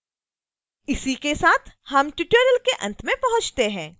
इसी के साथ हम tutorial के अंत में पहुँचते हैं